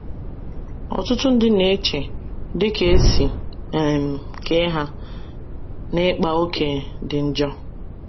Ọtụtụ ndị na - eche, dị ka e si um kee ha, na ịkpa ókè dị njọ.